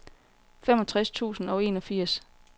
femogtres tusind og enogfirs